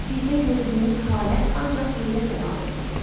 Bizdə gördüyünüz halət ancaq heyrət əlamətidir.